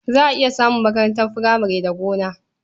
Za a iya samun makarantar furamare da gona.